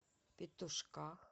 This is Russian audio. петушках